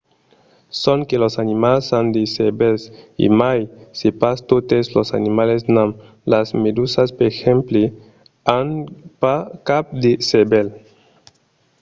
sonque los animals an de cervèls e mai se pas totes los animals n'an; las medusas per exemple an pas cap de cervèl